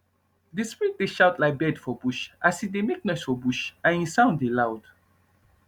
the spirit dey shout like bird for bush as e dey make noise for bush and e sound dey loud